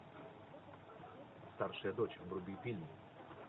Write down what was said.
старшая дочь вруби фильм